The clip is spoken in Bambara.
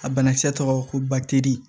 A banakisɛ tɔgɔ ko bateli